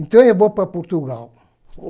Então eu vou para Portugal.